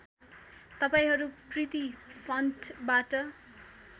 तपाईँहरू प्रिती फन्टबाट